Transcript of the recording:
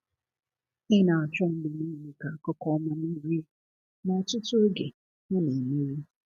Ị na-achọ mgbe niile ka akụkụ ọma merie, ma ọtụtụ oge ha na-emeri.